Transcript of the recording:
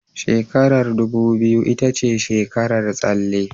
Shekarar dubu biyu ita ce shekarar tsalle